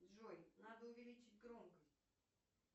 джой надо увеличить громкость